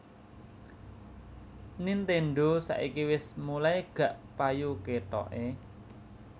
Nintendo saiki wes mulai gak payu ketoke